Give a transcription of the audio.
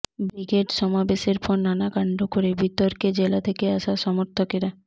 brigade সমাবেশের পর নানা কাণ্ড করে বিতর্কে জেলা থেকে আসা সমর্থকেরা